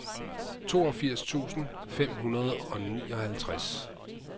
toogfirs tusind fem hundrede og nioghalvtreds